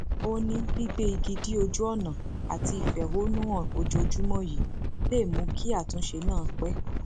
ó ní gbígbé igi dí ojú ọnà àti ìfẹhónú han ojoojúmọ yìí lè mú kí àtúnṣe náà pé